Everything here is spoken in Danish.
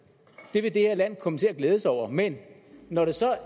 det vil det her land komme til at glæde sig over men når det så